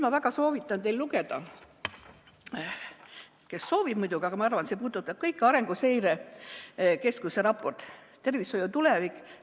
Ma väga soovitan teil lugeda Arenguseire Keskuse raportit "Eesti tervishoiu tulevik.